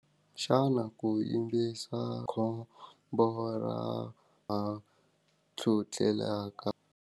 Xana ku yimbisa khombo ra ra .